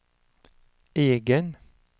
egen